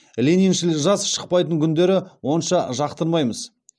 лениншіл жас шықпайтын күндерді онша жақтырмаймыз